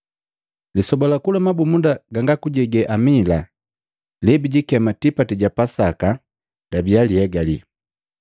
Lisoba la kula mabumunda ganga kujege amila, lebijikema tipati ja Pasaka, labia lihegali.